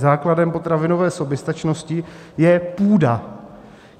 Základem potravinové soběstačnosti je půda.